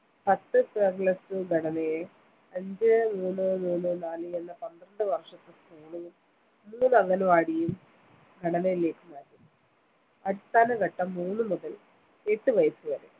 പത്ത് plus two ഘടനയെ അഞ്ച മൂന്ന് മൂന്ന് നാല് എന്ന പത്രണ്ട് വർഷത്തെ school ഉം മൂന്ന് അംഗൻവാഡിയും ഘടനയിലേക്ക് മാറ്റുന്നു അടിസ്ഥാന ഘട്ടം മൂന്ന് മുതൽ എട്ട് വയസ്സ് വരെ